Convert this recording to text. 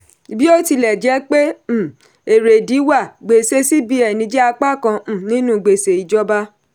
bí ó tilẹ̀ jẹ́ pé um erèdí wà gbèsè cbn jẹ́ apá kan um nínú gbèsè ìjọba.